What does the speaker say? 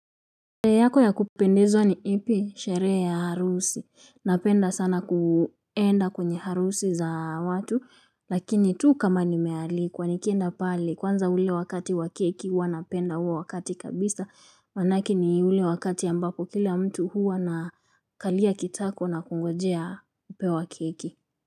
Sherehe yako ya kupendezwa ni ipi? Sherehe ya harusi, napenda sana kwenda kwenye harusi za watu, lakini tu kama nimealikwa. Nikienda pale kwanza ule wakati wa keki huwa napenda huo wakati kabisa, maanake ni ule wakati ambako kila mtu huwa anakalia kitako na kungojea kupewa keki.